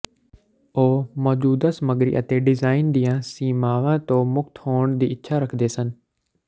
ਉਹ ਮੌਜੂਦਾ ਸਮੱਗਰੀ ਅਤੇ ਡਿਜ਼ਾਈਨ ਦੀਆਂ ਸੀਮਾਵਾਂ ਤੋਂ ਮੁਕਤ ਹੋਣ ਦੀ ਇੱਛਾ ਰੱਖਦੇ ਸਨ